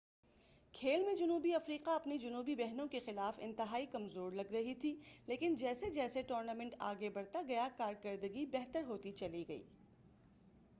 کھیل میں جنوبی افریقہ اپنی جنوبی بہنوں کے خلاف انتہائی کمزور لگ رہی تھی لیکن جیسے جیسے ٹورنامنٹ آگے بڑھتا گیا کارکردگی بہتر ہوتی چلی گئی